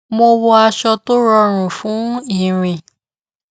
mo wọ aṣọ tó rọrùn fún ìrìn